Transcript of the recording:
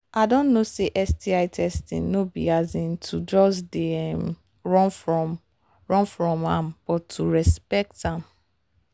i don know say sti testing no be um to just they um run from run from am but to respect am